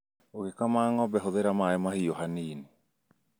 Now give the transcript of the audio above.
Ũgĩkama ng'ombe hũthĩra maĩ mahiũ hanini